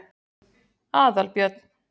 Aðalbjörn